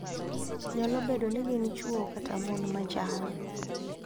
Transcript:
Nyalo bedo ni gin chwo kata mon machal,